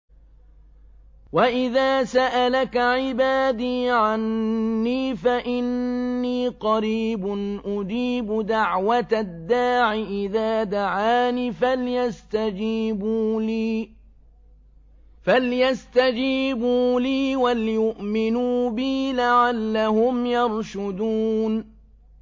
وَإِذَا سَأَلَكَ عِبَادِي عَنِّي فَإِنِّي قَرِيبٌ ۖ أُجِيبُ دَعْوَةَ الدَّاعِ إِذَا دَعَانِ ۖ فَلْيَسْتَجِيبُوا لِي وَلْيُؤْمِنُوا بِي لَعَلَّهُمْ يَرْشُدُونَ